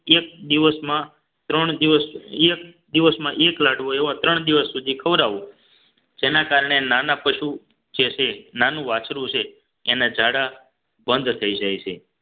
એક દિવસમાં ત્રણ દિવસ એક દિવસમાં એક લાડવા એવા ત્રણ દિવસ સુધી ખવડાવો જેના કારણે નાના પશુ જે છે નાનું વાછરું છે એના ઝાડા બંધ થઈ જાય છે